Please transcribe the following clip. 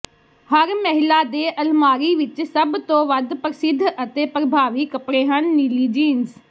ਹਰ ਮਹਿਲਾ ਦੇ ਅਲਮਾਰੀ ਵਿੱਚ ਸਭ ਤੋਂ ਵੱਧ ਪ੍ਰਸਿੱਧ ਅਤੇ ਪਰਭਾਵੀ ਕੱਪੜੇ ਹਨ ਨੀਲੀ ਜੀਨਸ